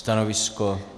Stanovisko?